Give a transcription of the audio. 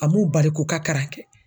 A m'u bali k'u ka karan kɛ.